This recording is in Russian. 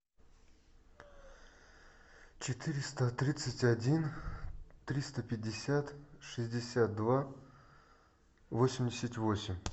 четыреста тридцать один триста пятьдесят шестьдесят два восемьдесят восемь